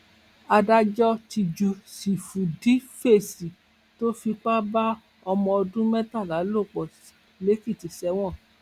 adájọ ti ju sífùdífẹsì tó fipá bá ọmọ ọdún mẹtàlá lò pọ lèkìtì sẹwọn